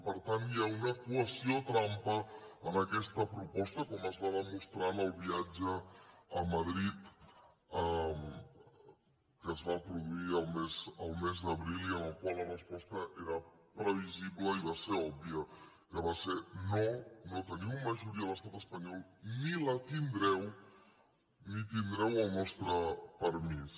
per tant hi ha una equació trampa en aquesta proposta com es va demostrar en el viatge a madrid que es va produir al mes d’abril i en el qual la resposta era previsible i va ser òbvia que va ser no no teniu majoria a l’estat espanyol ni la tindreu ni tindreu el nostre permís